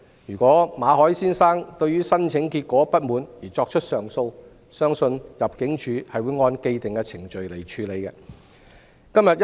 如馬凱先生對於申請結果不滿而提出上訴，相信入境處會按既定程序處理。